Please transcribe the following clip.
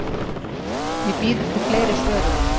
Ég bíð eftir fleiri svörum.